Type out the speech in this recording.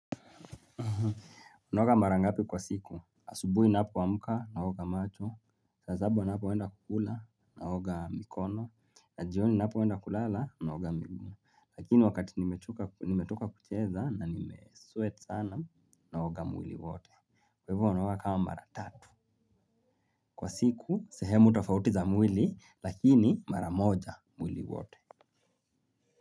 Unaoga mara ngapi kwa siku. Asubuhi napoamka, naoga macho. Zaabu anapoenda kukula, naoga mikono. Na jioni napoenda kulala, naoga miguu. Lakini wakati nimetoka nimetoka kucheza na nimesweat sana naoga mwili wote. Kwa hivo wanaoga kama mara tatu. Kwa siku, sehemu tofauti za mwili, lakini maramoja mwili wote.